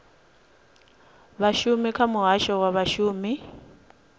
vhashumi kha muhasho wa vhashumi